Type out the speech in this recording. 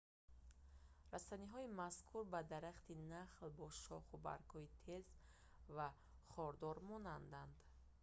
растаниҳои мазкур ба дарахти нахл бо шоху баргҳои тез ва хордор монанданд